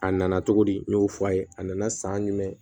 A nana cogo di n y'o fɔ a ye a nana san jumɛn